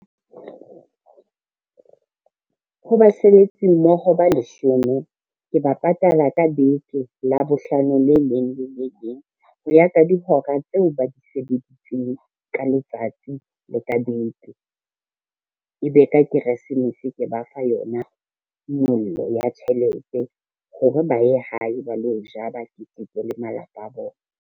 Ho basebetsi ba ho ba leshome ke ba patala ka beke Labohlano le leng le le leng, ho ya ka dihora tseo ba di sebeditseng ka letsatsi le ka beke. Ebe ka keresemese ke ba fa yona nyollo ya tjhelete hore ba ye hae ba lo ja, ba keteke le malapa a bona.